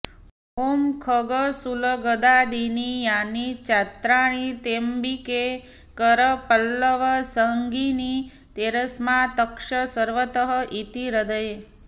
ॐ खड्गशूलगदादीनि यानि चास्त्राणि तेऽम्बिके करपल्लवसङ्गीनि तैरस्मात्रक्ष सर्वतः इति हृदये